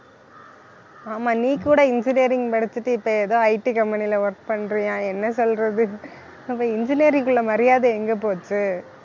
ஆமாம் நீ கூட engineering படிச்சுட்டு இப்ப ஏதோ IT company ல work பண்றியாம் என்ன சொல்றது அப்ப engineering க்குள்ள மரியாதை எங்க போச்சு